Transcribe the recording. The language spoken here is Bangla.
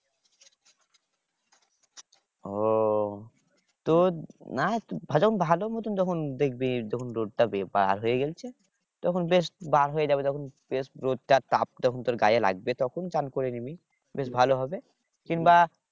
ও তোর না যখন ভালো মত যখন দেখবি যখন রোদ টা বার হয়ে গেছে তখন বেশ বার হয়ে যাবে তখন বেশ রোদটা তাপ যখন তোর গায়ে লাগবে তখন চান করে নিবি বেশ ভালো হবে কিংবা